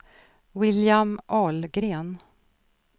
William Ahlgren